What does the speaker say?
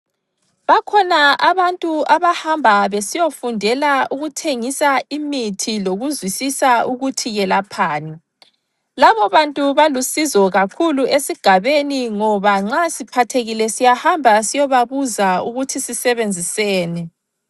Bakhona abantu abahamba besiyofundela ukuthengisa imithi, lokuzwisisa ukuthi iyelaphani. Labobantu balusizo kakhulu esigabeni, ngoba nxa siphathekile siyahamba siyobabuza ukuthi sisebenziseni.